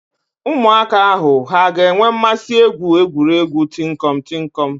Ụmụaka ahụ ha ga-enwe mmasị egwu egwuregwu tinkọm - tinkọm?